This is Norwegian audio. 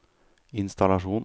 innstallasjon